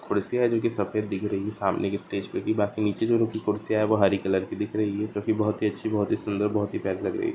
कुर्सियां जो की सफेद दिख रही है सामने की स्टेज मे भी बाकी जो बीच में जो कुर्सियां है वो हरी कलर की दिख रही है जो की बहोत ही अच्छी बहोत ही सुंदर बहोत ही प्यारी लग रही है।